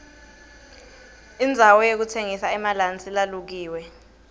indzawo yokutsengisa emalansi lalukiwe